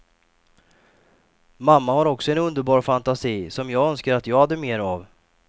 Mamma har också en underbar fantasi som jag önskar att jag hade mer av.